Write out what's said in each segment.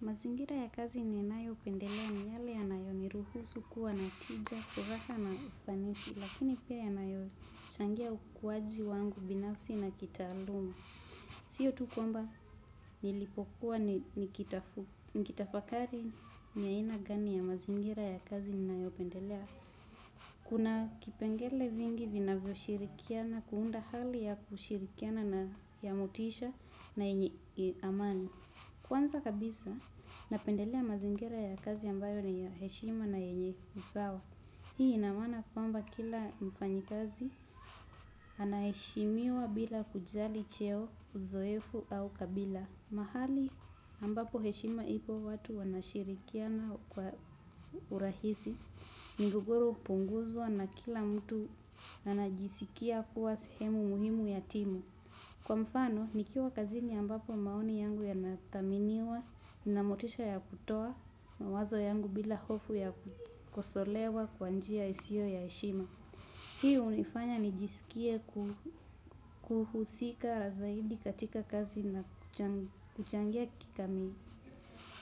Mazingira ya kazi ninayopendelea ni yale yanayoniruhusu kuwa na tija, furaha na ufanisi, lakini pia yanayochangia ukuaji wangu binafsi na kitaaluma. Siyo tu kwamba nilipokuwa nikitafakari ni aina gani ya mazingira ya kazi ninayopendelea. Kuna kipengele vingi vinavyoshirikiana kuunda hali ya kushirikiana na ya motisha na yenye amani. Kwanza kabisa, napendelea mazingira ya kazi ambayo ni ya heshima na yenye usawa. Hii inamaana kwamba kila mfanyikazi, anaheshimiwa bila kujali cheo, uzoefu au kabila. Mahali ambapo heshima ipo watu wanashirikiana kwa urahisi, migogoro hupunguzwa na kila mtu anajisikia kuwa sehemu muhimu ya timu. Kwa mfano, nikiwa kazini ambapo maoni yangu yanathaminiwa, nina motisha ya kutoa, mawazo yangu bila hofu ya kukoselewa kwa njia isiyo ya heshima. Hii hunifanya nijisikie kuhusika zaidi katika kazi na kuchangia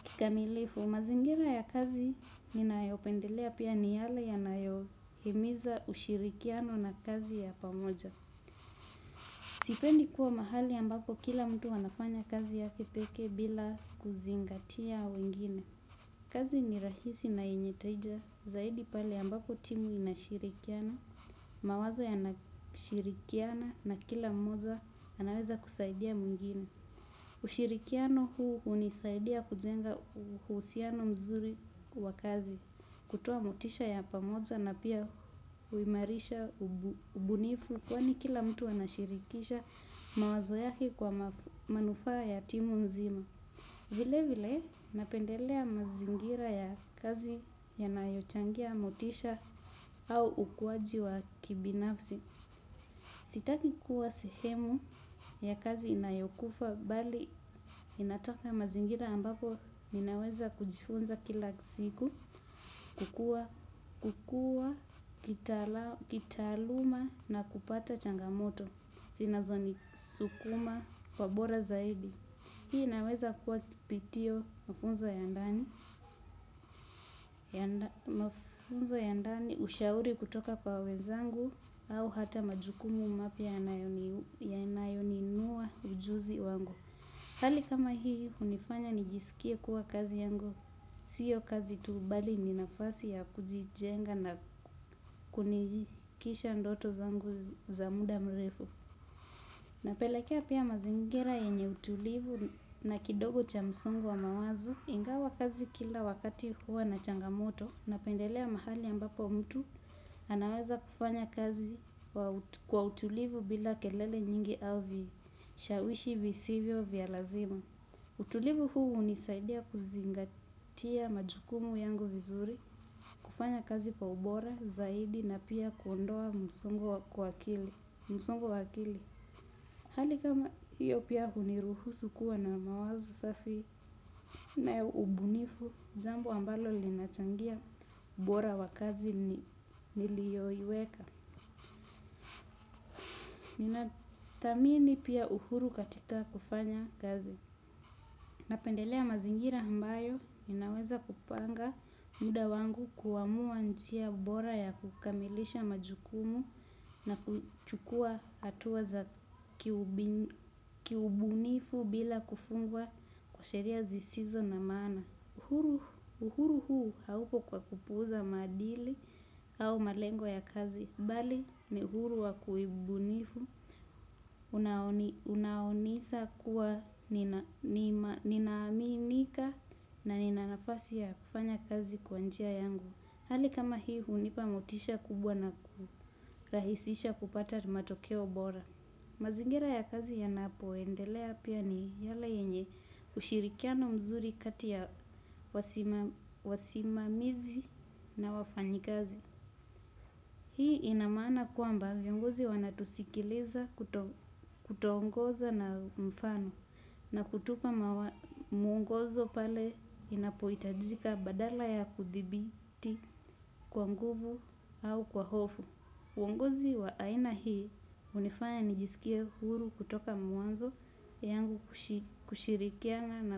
kikamilifu. Mazingira ya kazi, ninayopendelea pia ni yale yanayohimiza ushirikiano na kazi ya pamoja. Sipendi kuwa mahali ambapo kila mtu anafanya kazi yake pekee bila kuzingatia wengine. Kazi ni rahisi na yenye tija zaidi pale ambapo timu inashirikiana, mawazo yanashirikiana na kila mmoja anaweza kusaidia mwingine. Ushirikiano huu hunisaidia kujenga uhusiano mzuri wa kazi. Kutoa motisha ya pamoja na pia huimarisha ubunifu kwani kila mtu anashirikisha mawazo yake kwa manufaa ya timu nzima. Vile vile napendelea mazingira ya kazi yanayochangia motisha au ukuaji wa kibinafsi. Sitaki kuwa sehemu ya kazi inayokufa bali inataka mazingira ambapo ninaweza kujifunza kila siku kukua, kukua, kitaaluma na kupata changamoto. Zinazonisukuma kwa bora zaidi. Hii inaweza kuwa kipitio mafunzo ya ndani ushauri kutoka kwa wezangu au hata majukumu mapya yanayoinua ujuzi wangu. Hali kama hii hunifanya nijisikie kuwa kazi yangu, siyo kazi tu bali ni nafasi ya kujijenga na kunikisha ndoto zangu za muda mrefu. Napelekea pia mazingira yenye utulivu na kidogo cha msongo wa mawazo ingawa kazi kila wakati huwa na changamoto napendelea mahali ambapo mtu anaweza kufanya kazi kwa utulivu bila kelele nyingi au vishawishi visivyo vya lazima. Utulivu huu hunisaidia kuzingatia majukumu yangu vizuri, kufanya kazi kwa ubora, zaidi, na pia kuondoa msongo wa kili. Hali kama hiyo pia huniruhusu kuwa na mawazo safi na ubunifu, zambo ambalo linachangia ubora wakazi niliyoiweka. Ninathamini pia uhuru katika kufanya kazi napendelea mazingira ambayo ninaweza kupanga muda wangu kuamua njia bora wakukamilisha majukumu na kuchukua hatua za kiubunifu bila kufungwa kwa sheria zisizo za maana uhuru huu haupo kwa kupuuza maadili au malengo ya kazi bali ni uhuru wa kiubunifu unaunisa kuwa ninaaminika na ninanafasi ya kufanya kazi kwa njia yangu hali kami hii hunipa motisha kubwa na kurahisisha kupata matokeo bora mazingira ya kazi yanapoendelea pia ni yale yenye ushirikiano mzuri kati ya wasimamizi na wafanyikazi hii inamaana kwamba viongozi wanatusikiliza kutoongoza na mfano. Na kutupa mawa mwongozo pale inapohitajika badala ya kudhibiti kwa nguvu au kwa hofu uongozi wa aina hii hunifanya nijisikie huru kutoka mwanzo yangu kushirikiana na.